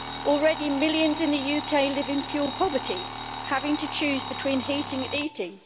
Already, millions in the UK live in fuel poverty, having to choose between heating and eating.